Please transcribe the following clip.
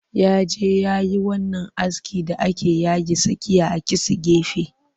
Ya je yayi wannan askin da ake yake tsakiya a kitse gefe